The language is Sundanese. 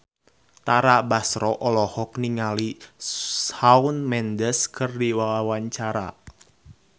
Tara Basro olohok ningali Shawn Mendes keur diwawancara